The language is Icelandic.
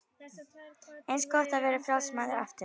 Eins gott að vera frjáls maður aftur.